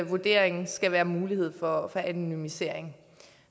vurdering skal være mulighed for anonymisering